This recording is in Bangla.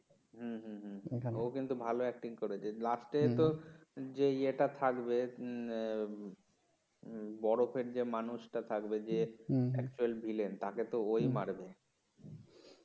হম এখানে ও কিন্তু ভাল acting করেছে লাস্টে তো যেই ইয়ে টা থাকবে হম বরফের যে মানুষ টা থাকবে যে actual vilen তাকে তো ও ই মারবে